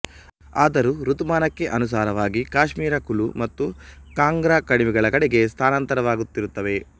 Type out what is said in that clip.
ಆದರೂ ಋತುಮಾನಕ್ಕೆ ಅನುಸಾರವಾಗಿ ಕಾಶ್ಮೀರ ಕುಲು ಮತ್ತು ಕಾಂಗ್ರಾ ಕಣಿವೆಗಳ ಕಡೆಗೆ ಸ್ಥಾನಾಂತರವಾಗುತ್ತಿರುತ್ತವೆ